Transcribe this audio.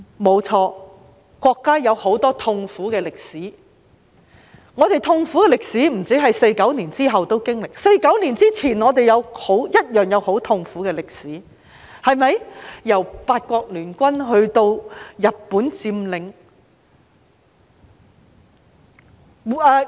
不錯，國家有很多痛苦的歷史，不止在1949年後經歷，在1949年之前我們一樣有很痛苦的歷史，由八國聯軍至日本佔領。